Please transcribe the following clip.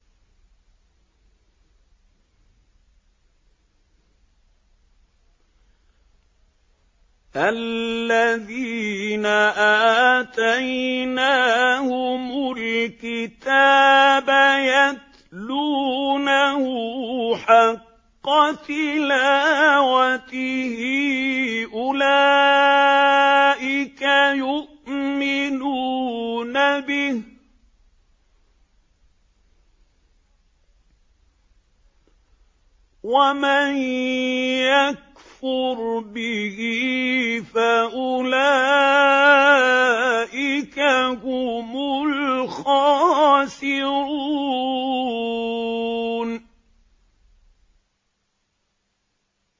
الَّذِينَ آتَيْنَاهُمُ الْكِتَابَ يَتْلُونَهُ حَقَّ تِلَاوَتِهِ أُولَٰئِكَ يُؤْمِنُونَ بِهِ ۗ وَمَن يَكْفُرْ بِهِ فَأُولَٰئِكَ هُمُ الْخَاسِرُونَ